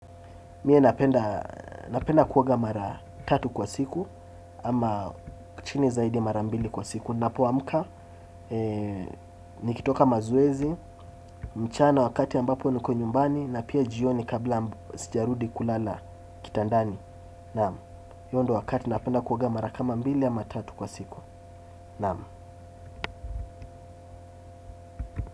Mie napenda kuoga mara tatu kwa siku ama chini zaidi ya mara mbili kwa siku. Ninapoamka, nikitoka mazoezi, mchana wakati ambapo niko nyumbani na pia jioni kabla sijarudi kulala kitandani. Naam. Hiyo ndio wakati napenda kuoga mara kama mbili ama tatu kwa siku. Naam.